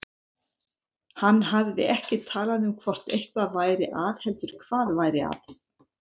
Hann hafði ekki talað um hvort eitthvað væri að heldur hvað væri að.